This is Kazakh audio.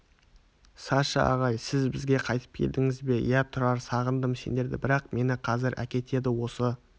саша ағай сіз бізге қайтып келдіңіз бе иә тұрар сағындым сендерді бірақ мені қазір әкетеді осы